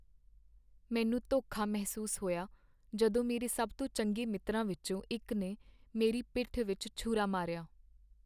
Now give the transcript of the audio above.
ਮੈਨੂੰ ਧੋਖਾ ਮਹਿਸੂਸ ਹੋਇਆ ਜਦੋਂ ਮੇਰੇ ਸਭ ਤੋਂ ਚੰਗੇ ਮਿੱਤਰਾਂ ਵਿੱਚੋਂ ਇੱਕ ਨੇ ਮੇਰੀ ਪਿੱਠ ਵਿੱਚ ਛੁਰਾ ਮਾਰਿਆ।